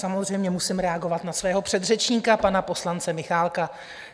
Samozřejmě musím reagovat na svého předřečníka, pana poslance Michálka.